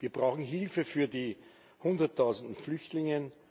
Wir brauchen Hilfe für die hunderttausende Flüchtlinge.